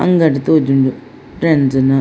ಅಂಗಡಿ ತೋಜುಂಡು ಫ್ರೆಂಡ್ಸ್ ನ.